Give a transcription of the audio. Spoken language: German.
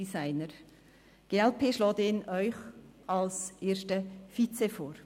Die glp schägt ihn Ihnen als ersten Vizepräsidenten vor.